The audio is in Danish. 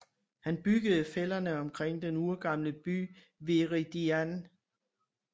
Han byggede fælderne omkring den urgamle by Veridian